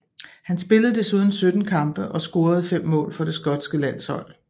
Han spillede desuden 17 kampe og scorede fem mål for det skotske landshold